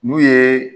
N'u ye